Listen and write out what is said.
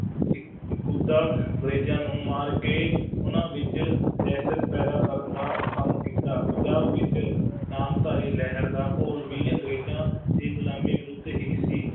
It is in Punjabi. ਅੰਗਰੇਜ਼ਾਂ ਨੂੰ ਮਾਰ ਕੇ ਉਹਨਾ ਵਿੱਚ ਦਹਿਸ਼ਤ ਪੈਦਾ ਕਰਨ ਦਾ ਕੰਮ ਕੀਤਾ, ਪੰਜਾਬ ਵਿੱਚ ਨਾਮਧਾਰੀ ਲਹਿਰ ਦਾ ਘੋਲ ਵੀ ਅੰਗਰੇਜ਼ਾਂ ਦੀ ਗੁਲਾਮੀ ਵਿਰੁੱਧ ਹੀ ਸੀ,